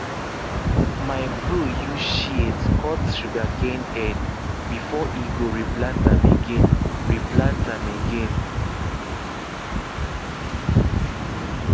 my bro use shears cut sugarcane head before e go replant am again replant am again